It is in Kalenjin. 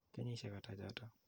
Kenyisyek ata chotok?